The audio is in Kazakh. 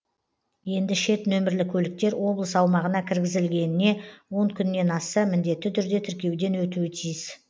енді шет нөмірлі көліктер облыс аумағына кіргізілгеніне он күннен асса міндетті түрде тіркеуден өтуі тиіс